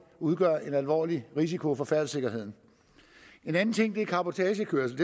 udgør en alvorlig risiko for færdselssikkerheden en anden ting er cabotagekørsel